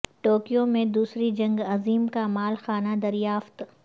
Tokyo میں دوسری جنگ عظیم کا مال خانہ دریافت